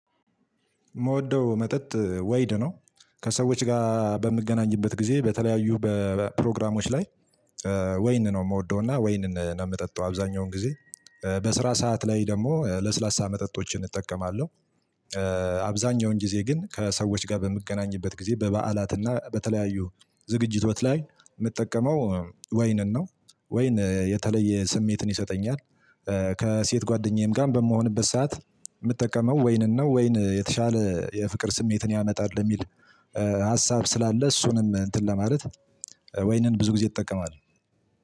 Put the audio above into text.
የምወደው መጠጥ ወይድ ነው። ከሰዎች ጋር በምገናኝበት ጊዜ በተለያዩ በፕሮግራሞች ላይ ወይን ነው የምወደውና ወይን ነው የምጠጣው አብዛኛውን ጊዜ በስራ ሰዓት ላይ ደግሞ ለስላሳ መጠጦችን እጠቀማለሁ። አብዛኛውን ጊዜ ግን ከሰዎች ጋር በምገናኝበት ጊዜ በበዓላትና በተለያዩ ዝግጅት ህይወት ላይ የምጠቀመው ወይንን ነው ወይን የተለየ ስሜትን ይሰጠኛል። ከሴት ጓደኛዬም ጋር በምሆንበት ሰዓት የምጠቀመው ወይንን ነው ወይን የተሻለ የፍቅር ስሜትን ያመጣል። የሚል ሀሳብ ስላለ እሱንም እንትን ለማለት ወይንን ብዙ ጊዜ እጠቀማለሁ።